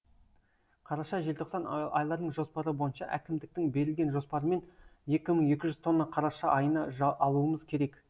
қараша желтоқсан айларының жоспары бойынша әкімдіктің берілген жоспарымен екі мың екі жүз тонна қараша айына алуымыз керек